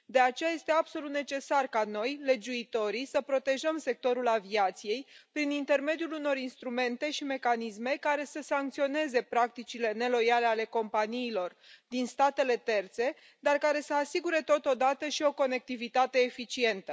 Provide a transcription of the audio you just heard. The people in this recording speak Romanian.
De aceea, este absolut necesar ca noi, legiuitorii, să protejăm sectorul aviației prin intermediul unor instrumente și mecanisme care să sancționeze practicile neloiale ale companiilor din statele terțe, dar care să asigure, totodată, și o conectivitate eficientă.